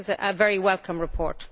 but this is a very welcome report.